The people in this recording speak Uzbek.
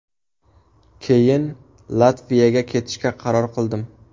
Keyin Latviyaga ketishga qaror qildim.